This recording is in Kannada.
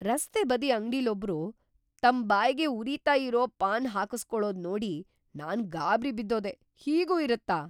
ರಸ್ತೆ ಬದಿ ಅಂಗ್ಡಿಲೊಬ್ರು ತಮ್ ಬಾಯ್ಗೆ ಉರಿತಾ ಇರೋ ಪಾನ್ ಹಾಕುಸ್ಕೊಳೋದ್‌ ನೋಡಿ ನಾನ್‌ ಗಾಬ್ರಿ ಬಿದ್ದೋದೆ.. ಹೀಗೂ ಇರತ್ತಾ?!